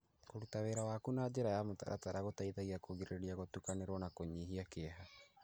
Kũruta wĩra waku na njĩra ya mũtaratara gũteithagia kũgirĩrĩria gũtukanĩrwo na kũnyihia kĩeha.